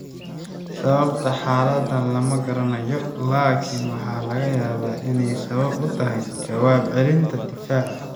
Sababta xaaladdan lama garanayo, laakiin waxaa laga yaabaa inay sabab u tahay jawaab celinta difaaca.